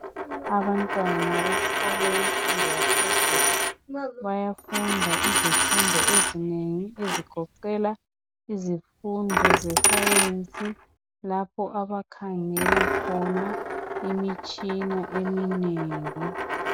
Abantwana besikolo semfundo yaphezulu bayafunda izifundo ezinengi ezigoqela izifundo zesayensi lapho abakhangela khona imitshina eminengi.